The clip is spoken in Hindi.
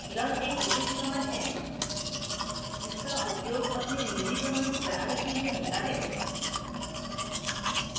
learn एक विशेष command है जिसका उपयोग अपने निजी commands बनाने के लिए होता है